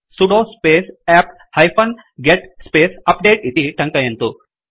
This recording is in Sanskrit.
sudo space apt hyphen get space update इति टङ्कयन्तु